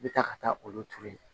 I bɛ taa ka taa olu turu yen